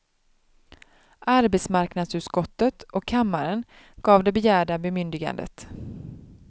Arbetsmarknadsutskottet, och kammaren, gav det begärda bemyndigandet.